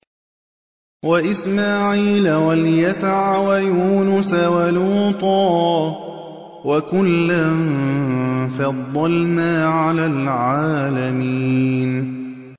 وَإِسْمَاعِيلَ وَالْيَسَعَ وَيُونُسَ وَلُوطًا ۚ وَكُلًّا فَضَّلْنَا عَلَى الْعَالَمِينَ